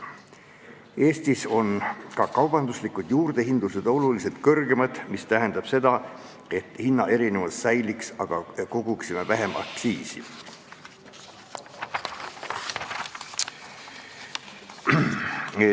Eestis on ka kaubanduslikud juurdehindlused oluliselt kõrgemad, mis tähendab seda, et hinnaerinevus säiliks, aga koguksime vähem aktsiisi.